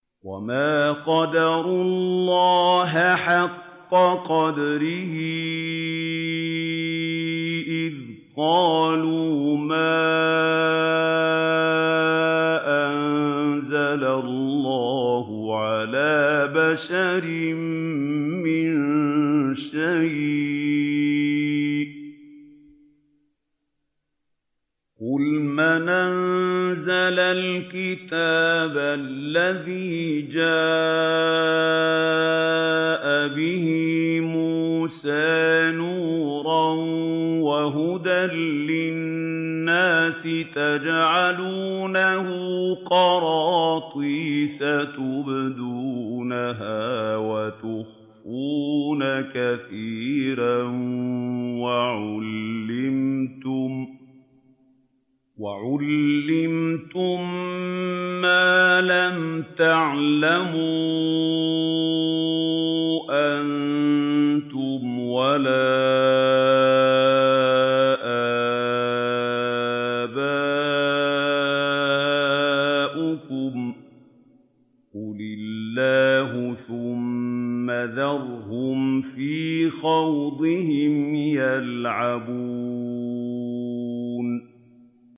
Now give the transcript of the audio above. وَمَا قَدَرُوا اللَّهَ حَقَّ قَدْرِهِ إِذْ قَالُوا مَا أَنزَلَ اللَّهُ عَلَىٰ بَشَرٍ مِّن شَيْءٍ ۗ قُلْ مَنْ أَنزَلَ الْكِتَابَ الَّذِي جَاءَ بِهِ مُوسَىٰ نُورًا وَهُدًى لِّلنَّاسِ ۖ تَجْعَلُونَهُ قَرَاطِيسَ تُبْدُونَهَا وَتُخْفُونَ كَثِيرًا ۖ وَعُلِّمْتُم مَّا لَمْ تَعْلَمُوا أَنتُمْ وَلَا آبَاؤُكُمْ ۖ قُلِ اللَّهُ ۖ ثُمَّ ذَرْهُمْ فِي خَوْضِهِمْ يَلْعَبُونَ